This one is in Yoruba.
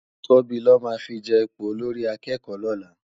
Tobi lò má fi je ipó ólórì àkèkò lòlá